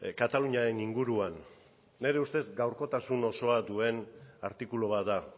kataluniaren inguruan nire ustez gaurkotasun osoa duen artikulu bat da